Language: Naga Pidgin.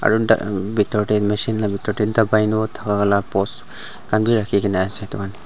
bitor tae machine la bitor tae post khan bi rakhikaena ase edu kan--